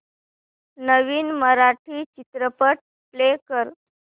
नवीन मराठी चित्रपट प्ले कर